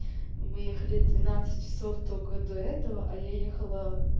мы ехали двенадцать часов только до этого а я ехала